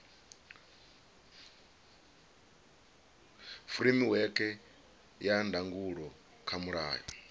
furemiweke ya ndangulo kha mulayo